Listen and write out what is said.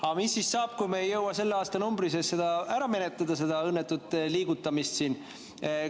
Aga mis siis saab, kui me ei jõua selle aastanumbri sees ära menetleda seda õnnetut liigutamist?